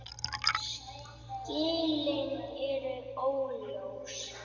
Skilin eru óljós.